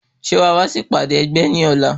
Ṣé ó wàá sí ìpàdé ẹgbẹ́ ní ọ̀la?